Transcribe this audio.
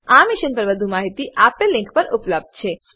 આ મિશન પર વધુ માહિતી આપેલ લીંક પર ઉપલબ્ધ છે